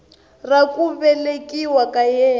ra ku velekiwa ka yena